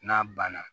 N'a banna